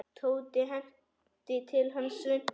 Tóti henti til hans svuntu.